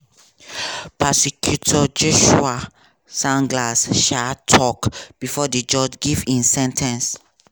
prosecutor joshua steinglass um tok bifor di judge give im sen ten ce.